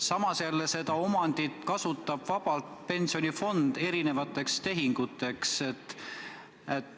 Samas kasutab seda omandit vabalt pensionifond, tehes sellega erinevaid tehinguid.